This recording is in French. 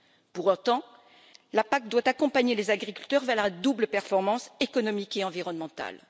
Pour autant, la PAC doit accompagner les agriculteurs vers la double performance économique et environnementale.